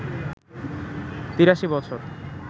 ৮৩ বছর